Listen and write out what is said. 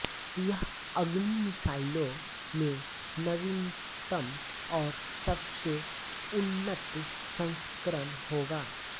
यह अग्नि मिसाइलों में नवीनतम और सबसे उन्नत संस्करण होगा